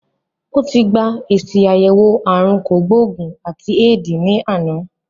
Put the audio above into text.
Ó ti gba èsì àyẹ̀wò ààrùn kògbó-ògùn àti éèdì ní àná